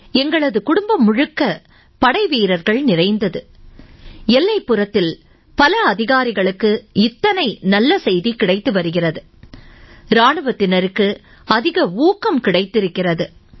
எங்களது குடும்பம் முழுக்க படைவீரர்கள் நிறைந்தது எல்லைப்புறத்தில் பல அதிகாரிகளுக்கு இத்தனை நல்ல செய்தி கிடைத்து வருகிறது இராணுவத்தினருக்கு அதிக ஊக்கம் கிடைத்திருக்கிறது